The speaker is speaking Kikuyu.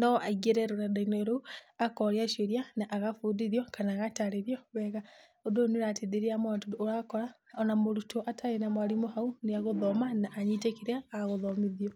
no aingĩre rũrenda-inĩ rũu akoria ciũria na agabundithio kana agatarĩrio wega ũndũ ũyũ nĩũrateithĩrĩria mũno tondũ nĩurakora ona mũrũtwo atarĩ na mwarimũ hau nĩegũthoma na anyite kĩrĩa agũthomithio.